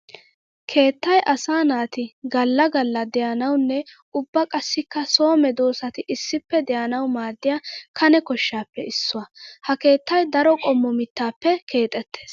Keettay asaa naati gala gala de'anawunne ubba qassikka so medosatti issippe de'anawu maaddiya kane koshappe issuwa. Ha keettay daro qommo mittappe keexetees.